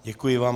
Děkuji vám.